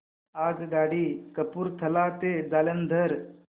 आगगाडी कपूरथला ते जालंधर